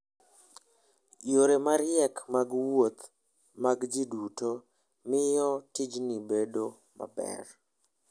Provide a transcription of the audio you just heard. Yore mariek mag wuoth mag ji duto miyo tijni bedo maber.